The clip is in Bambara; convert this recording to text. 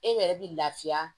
E yɛrɛ bi lafiya